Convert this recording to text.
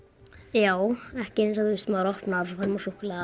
já ekki eins og maður opnar og svo fær maður súkkulaði